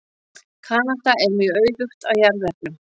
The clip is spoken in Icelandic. Kanada er mjög auðugt af jarðefnum.